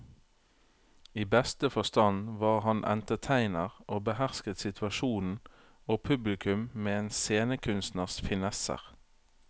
I beste forstand var han entertainer og behersket situasjonen og publikum med en scenekunstners finesser.